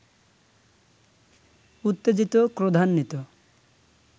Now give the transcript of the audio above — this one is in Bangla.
উত্তেজিত, ক্রোধান্বিত